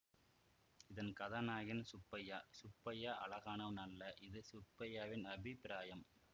இதன் கதாநாயகன் சுப்பையா சுப்பையா அழகானவன் அல்ல இது சுப்பையாவின் அபிப்பிராயம்